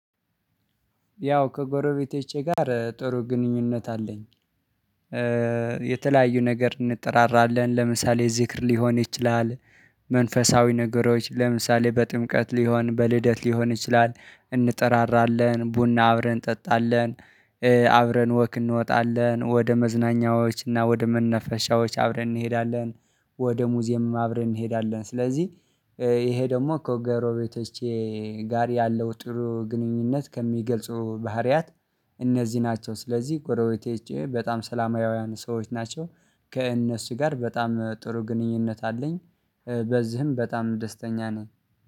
ያው ከጎረቤቶቸ ጋር ጥሩ ግንኙነት አለኝ። የተለያዩ ነገር እንጠራራለን። ለምሳሌ ዝክር ሊሆን ይችላል። መንፈሳዊ ነገሮች ለምሳሌ በጥምቀት ሊሆን፣ በልደት ሊሆን ይችላል፣ እንጠራራለን፣ ቡና አብረን እንጠጣለን። አብረን ወክ እንወጣለን፣ ወደ መዝናኛዎች እና ወደ መናፈሻዎች አብረን እንሄዳለን። ወደ ሙዚየም አብረን እንሄዳለን። ስለዚህ ይሄ ደግሞ ከጎረቤቶቼ ጋር ያለው ጥሩ ግንኙነት ከሚገልጹ ባህሪያት እነዚህ ናቸው። ስለዚህ ጎረቤቶቸ በጣም ሰላማውያን ሰዎች ናቸው። ከእነሱ ጋር በጣም ጥሩ ግንኙነት አለኝ። በዚህም በጣም ደስተኛ ነኝ